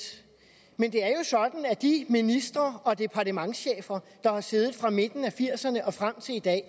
men det er jo sådan at de ministre og departementschefer der har siddet fra midten af nitten firserne og frem til i dag